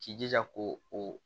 K'i jija ko o